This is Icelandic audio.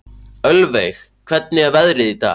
Ölveig, hvernig er veðrið í dag?